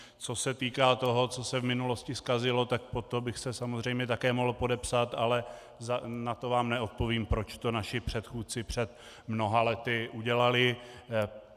Co se týká toho, co se v minulosti zkazilo, tak pod to bych se samozřejmě také mohl podepsat, ale na to vám neodpovím, proč to naši předchůdci před mnoha lety udělali.